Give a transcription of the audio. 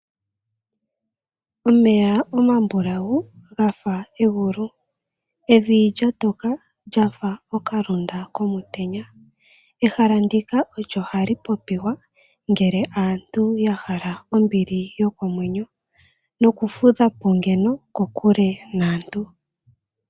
Omeya omambulawu gafa egulu evi lya toka lyafa okalunda komutenya ehala ndika olyo hali popiwa ngele aantu ya hala ombili yokomwenyo noku fudhapo ngeno kokule naantu.